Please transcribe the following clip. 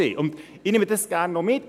Ich nehme das gerne noch mit: